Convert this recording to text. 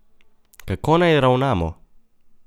Kako naj ravnamo?